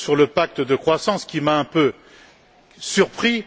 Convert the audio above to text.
Daul sur le pacte de croissance qui m'a un peu surpris.